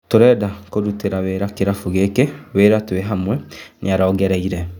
Tũrenda kũrũtĩra wĩra kĩrabu gĩkĩ wĩra twĩ hamwe," nĩarongereire.